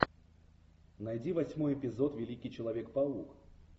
найди восьмой эпизод великий человек паук